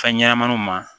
Fɛn ɲɛnɛmaniw ma